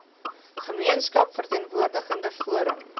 gemeenskaps verteenwoordigende forum